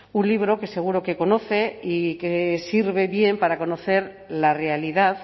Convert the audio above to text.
un libro que seguro que conoce y que sirve bien para conocer la realidad